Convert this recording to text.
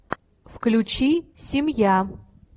включи семья